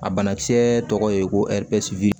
A bana kisɛ tɔgɔ ye ko